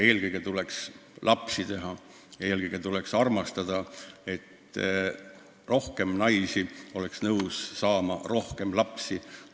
Eelkõige tuleks lapsi teha, eelkõige tuleks armastada, et rohkem naisi oleks nõus rohkem lapsi saama.